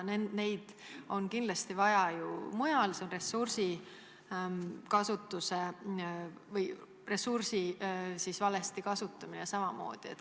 Neid on kindlasti rohkem vaja mujal, see on ressursside valesti kasutamine.